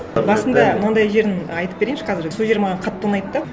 басында мынандай жерін айтып берейінші қазір сол жері маған қатты ұнайды да